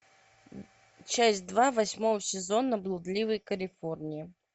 часть два восьмого сезона блудливой калифорнии